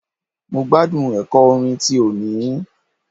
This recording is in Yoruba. Mo gbádùn ẹ̀kọ́ orin ti òní.